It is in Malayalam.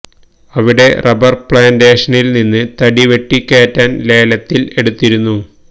അവിടെ റബ്ബര് പ്ലാന്റേഷനില് നിന്ന് തടി വെട്ടി കേറ്റാന് ലേലത്തില് എടുത്തിരുന്നു